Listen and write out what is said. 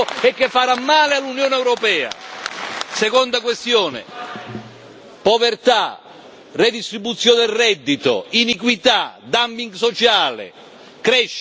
Seconda questione povertà, redistribuzione del reddito, iniquità, dumping sociale e crescita sostenibile sono le nostre priorità.